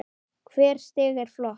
Hvert stig er flott.